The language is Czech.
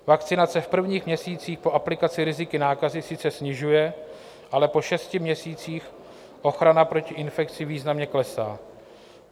Vakcinace v prvních měsících po aplikaci riziko nákazy sice snižuje, ale po šesti měsících ochrana proti infekci významně klesá.